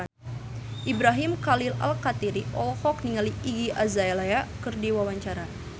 Ibrahim Khalil Alkatiri olohok ningali Iggy Azalea keur diwawancara